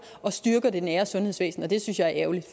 og styrker det nære sundhedsvæsen det synes jeg er ærgerligt